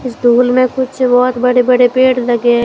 School में कुछ बहुत बड़े बड़े पेड़ लगे है।